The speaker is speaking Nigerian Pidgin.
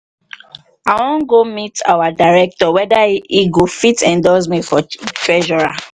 i wan go meet our director whether he go fit endorse me for treasurer